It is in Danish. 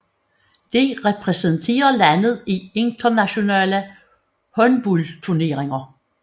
De repræsenterer landet i internationale håndboldturneringer